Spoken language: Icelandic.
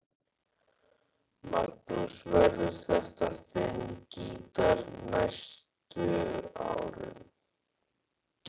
Magnús: Verður þetta þinn gítar næstu árin?